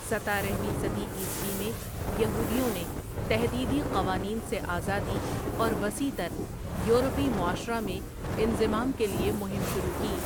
ستارہ ویں صدی عیسوی میں یہودیوں نے تحدیدی قوانین سے آزادی اور وسیع تر یورپی معاشرہ میں انضمام کے لیے مہم شروع کی۔